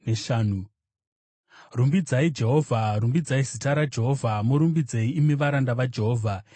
Rumbidzai Jehovha. Rumbidzai zita raJehovha; murumbidzei, imi varanda vaJehovha,